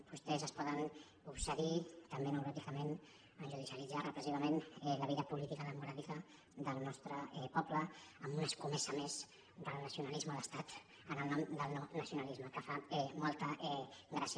vostès es poden obsedir també neuròticament a judicialitzar repressivament la vida política democràtica del nostre poble amb una escomesa més del nacionalisme d’estat en el nom del no nacionalisme que fa molta gràcia